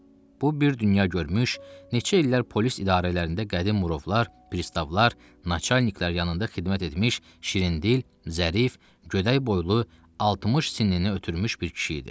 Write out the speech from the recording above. Bu bir dünya görmüş, neçə illər polis idarələrində qədim murovlar, pristavlar, naçalniklər yanında xidmət etmiş şirindil, zərif, gödək boylu, 60 sinni ötürmüş bir kişi idi.